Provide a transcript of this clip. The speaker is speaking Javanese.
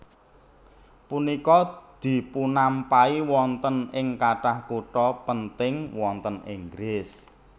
Punika dipunampahi wonten ing kathah kutha penting wonten Inggris